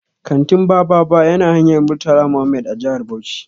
Kantin Bababa ya na hanyar Murtala Mohammed a jihar Bauchi.